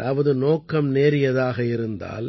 அதாவது நோக்கம் நேரியதாக இருந்தால்